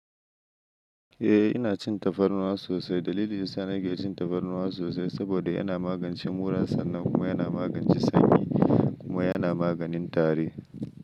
Eh ina cin tafarnuwa sosai. Dalili yasa na ke cin tafarnuwa sosai saboda yana magance murar sannan kuma yana magance sanyi kuma yana maganin tari.